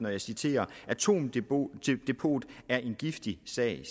og jeg citerer atomdepot er en giftig sag